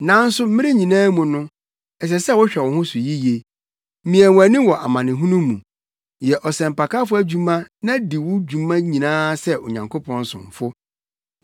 Nanso mmere nyinaa mu no, ɛsɛ sɛ wohwɛ wo ho so yiye. Mia wʼani wɔ amanehunu mu. Yɛ ɔsɛmpakafo adwuma na di wo dwuma nyinaa sɛ Onyankopɔn somfo.